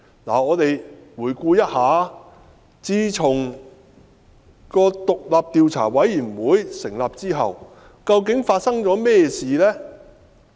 我們且回顧自獨立調查委員會成立後發生的事件。